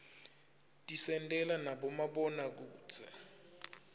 tisentela nabomabonakudze